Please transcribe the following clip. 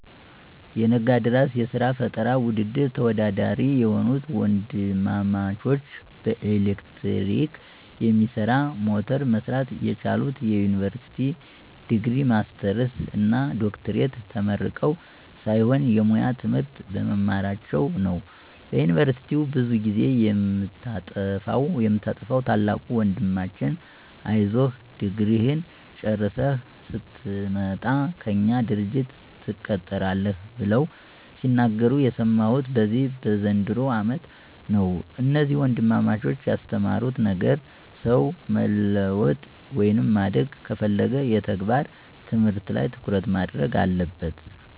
የነጋድራስ የስራ ፈጠራ ውድድር ተወዳዳሪ የሆኑት ወንድማማቾች በኤሌክትሪክ የሚሰራ ሞተር መስራት የቻሉት የዩኒቨርሲቲ ዲግሪ፣ ማስተርስ እና ዶክትሬት ተመርቀው ሳይሆን የሙያ ትምህርት በመማራቸው ነው። በዩኒቨርስቲ ብዙ ጊዜ የምታጠፋዉ ታላቁ ወንድማችን አይዞህ ድግሪህን ጨርሰህ ስትመጣ ከእኛ ድርጅት ትቀጠራለህ ብለው ሲናገሩ የሰማሁት በዚህ በዘንድሮው አመት ነው። እነዚህ ወንድማማቾች ያስተማሩት ነገር ሰው መለወጥ ወይም ማደግ ከፈለገ የተግባር ትምህርት ላይ ትኩረት ማድረግ አለበት።